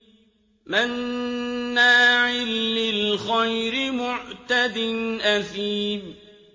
مَّنَّاعٍ لِّلْخَيْرِ مُعْتَدٍ أَثِيمٍ